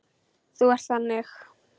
Þú ert þannig.